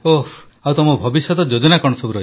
ଓଃ ଆଉ ତମ ଭବିଷ୍ୟତ ଯୋଜନା କଣ